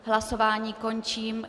Hlasování končím.